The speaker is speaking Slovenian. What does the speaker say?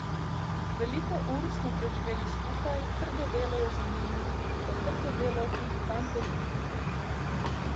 Veliko ur smo preživeli skupaj, trdo delo je za njimi, to trdo delo tudi fante združuje.